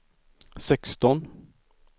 sexton